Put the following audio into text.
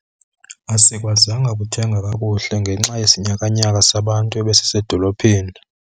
Asikwazanga kuthenga kakuhle ngenxa yesinyakanyaka sabantu ebesisedolophini.